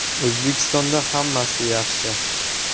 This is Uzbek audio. O‘zbekistonda hammasi yaxshi.